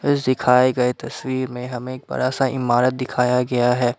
दिखाए गए तस्वीर में हमें एक बड़ा सा इमारत दिखाया गया है।